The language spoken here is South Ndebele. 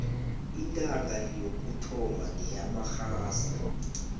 intanga yokuthoma ngeyamarhasa